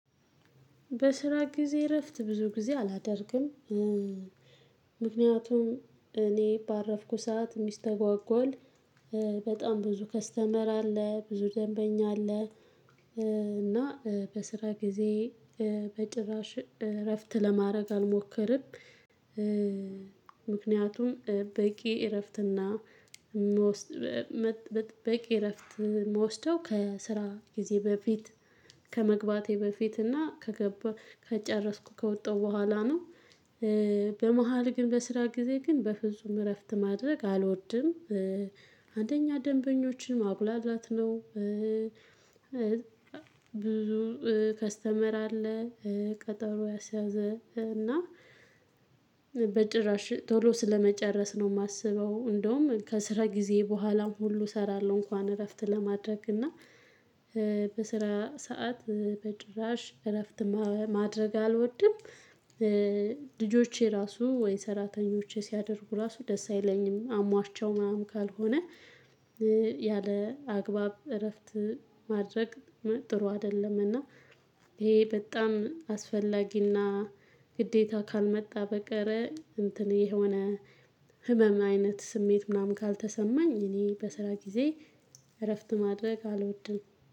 በስራ ጊዜ እረፍት ብዙ ጊዜ አላደርግም። ምክንያቱም እኔ ባረፍኩ ሰዓት የሚስተጓጎል በጣም ብዙ ከስተመር አለ ብዙ ደንበኛ አለ እና በስራ ጊዜ በጭራሽ እረፍት ለማድረግ አልሞክርም። ምክንያቱም በቂ እረፍትና በቂ እረፍት የምወስደው ከስራ ጊዜ በፊት ከመግባቴ በፊት እና ከገባ ከጨረስኩ ከወጣሁ በኋላ ነው። በመሃል ግን በስራ ጊዜ ግን በፍጹም እረፍት ማድረግ አልወድም አንደኛ ደንበኞችን ማጉላላት ነው ብዙ ከስተመር አለ ቀጠሮ ያሲያዘ እና በጭራሽ ቶሎ ስለመጨረስ ነው የማስበው። እንደውም ከስራ ጊዜዬ በኋላም ሁሉ እሰራለሁ እንኳን እረፍት ለማድረግ እና በስራ ሰዓት በጭራሽ እረፍት ማድረግ አልወድም። ልጆቼ ራሱ ወይ ሰራተኞቼ ሲያደርጉ ራሱ ደስ አይለኝም አሟቸው ምናምን ካልሆነ ያለ አግባብ እረፍት ማድረግ ጥሩ አይደለም እና ይሄ በጣም አስፈላጊና ግዴታ ካልመጣ በቀር እንትን የሆነ ህመም አይነት ስሜት ምናምን ካልተሰማኝ እኔ በስራ ጊዜ እረፍት ማድረግ አልወድም።